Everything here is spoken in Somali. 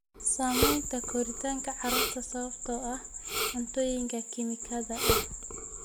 Saamaynta koritaanka carruurta sababtoo ah cuntooyinka kiimikada ah.